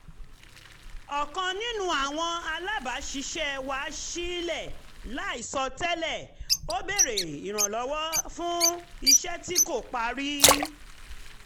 ọ̀kan nínú àwọn alábàṣiṣẹ́pọ̀ wá sílé láìsọ tẹ́lè ó béèrè ìrànlọ́wọ́ fún iṣẹ́ tí kò parí